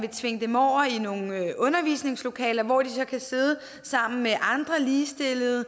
at tvinge dem over i nogle undervisningslokaler hvor de så kan sidde sammen med andre ligestillede og